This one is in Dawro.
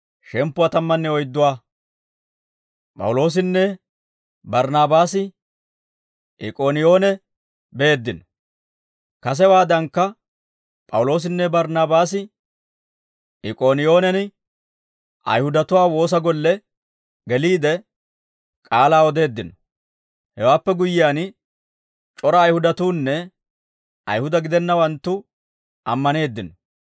Kasewaadankka P'awuloosinne Barnaabaasi Ik'ooniyoonen Ayihudatuwaa woosa golle geliide, k'aalaa odeeddino; hewaappe guyyiyaan c'ora Ayihudatuunne Ayihuda gidennawanttu ammaneeddino.